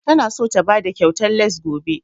Ta na so ta bada kyautan lace gobe